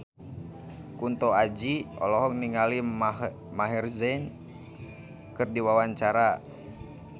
Kunto Aji olohok ningali Maher Zein keur diwawancara